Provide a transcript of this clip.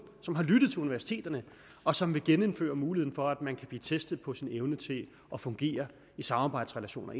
som har lyttet til universiteterne og som vil genindføre muligheden for at man kan blive testet på sin evne til at fungere i samarbejdsrelationer